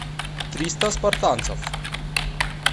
триста спартанцев